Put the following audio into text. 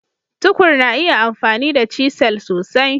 Tukur na iya amfani da cisel sosai.